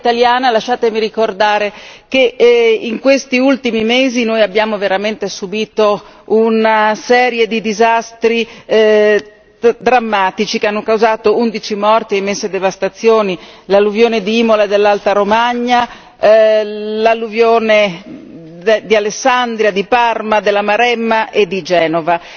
Però da italiana, lasciatemi ricordare che in questi ultimi mesi noi abbiamo veramente subito una serie di disastri drammatici che hanno causato 11 morti e immense devastazioni l'alluvione di Imola dell'Alta Romagna, l'alluvione di Alessandria, di Parma, della Maremma e di Genova.